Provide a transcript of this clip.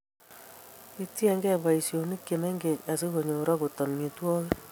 Kitiegen boishonik che mengech asikonyor akot amitwokik